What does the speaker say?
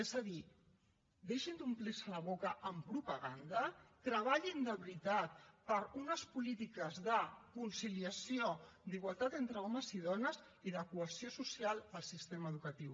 és a dir deixin d’omplir se la boca amb propaganda treballin de veritat per unes polítiques de conciliació d’igualtat entre homes i dones i de cohesió social al sistema educatiu